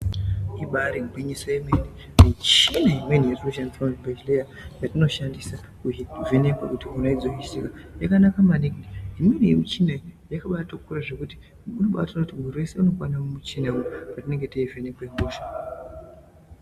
Ibaari gwinyiso remene michina imweni iri kushandiswa muzvibhedhlera yatinoshandisa kuvheneka kuti hosha yakamira sei yakanaka maningi. Imweni yemichina iyi yakabaatokura zvekuti unobaatokone kuti mwiri weshe unobaatokwana mumuchina patinenge teivhenekwe hosha.